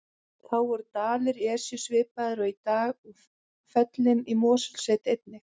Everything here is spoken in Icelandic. Þá voru dalir Esju svipaðir og í dag og fellin í Mosfellssveit einnig.